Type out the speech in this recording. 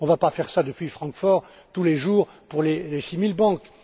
On ne va pas faire cela depuis Francfort, tous les jours, pour les six mille banques.